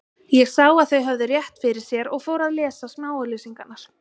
Ég sá að þau höfðu rétt fyrir sér og fór að lesa smáauglýsingarnar.